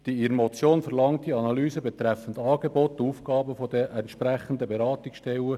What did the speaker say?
Die Motion verlangt eine Analyse betreffend Angebot und Aufgaben der entsprechenden Beratungsstellen.